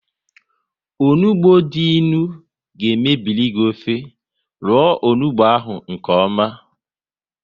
Onugbu dị ịnụ ga mebiri gị ofe, roo onugbu ahụ nkeọma